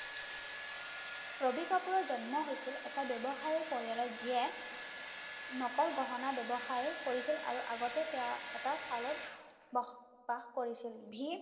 ৰবি কাপুৰৰ জন্ম হৈছিল এটা ব্যৱসায়ি পৰিয়ালৰ যিয়ে নকল গহনা ব্যৱসায়ি কৰিছিল আৰু আগতে তেওঁ এটা বসবাস কৰিছিল